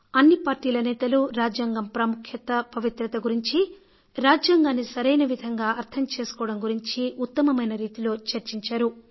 అన్ని పార్టీల నేతలు రాజ్యాంగం ప్రాముఖ్యత పవిత్రత గురించీ రాజ్యాంగాన్ని సరైన విధంగా అర్థం చేసుకోవడం గురించి ఉత్తమమైన రీతిలో చర్చించారు